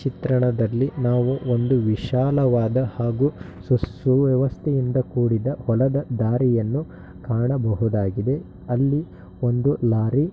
ಚಿತ್ರಣದಲ್ಲಿ ನಾವು ಒಂದು ವಿಶಾಲವಾದ ಹಾಗೂ ಸು ಸುವ್ಯವಸ್ಥೆಯಿಂದ ಕೂಡಿದ ಹೊಲದ ದಾರಿಯನ್ನು ಕಾಣಬಹುದಾಗಿದೆ. ಅಲ್ಲಿ ಒಂದು ಲಾರಿ --